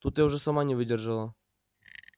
тут я уже сама не выдержала